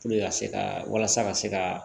ka se ka walasa ka se ka